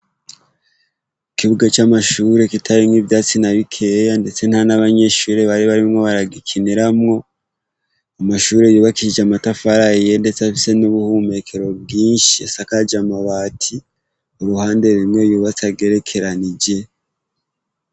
Ikibuga c'amashuri kitarimwo ivyatsi na bikeya ndetse nta n'abanyeshuri bari barimwo baragikiniramwo, amashure yubakisije amatafari ahiye ndetse afise n'ubuhumekero bwinshi asakaje amabati, uruhande rumwe yubatse agerekeranije.